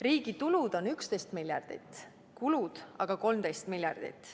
Riigi tulud on 11 miljardit, kulud aga 13 miljardit.